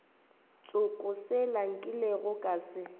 tsoko sela nkilego ka se